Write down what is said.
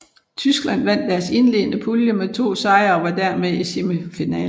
Tyskland vandt deres indledende pulje med to sejre og var dermed i semifinalen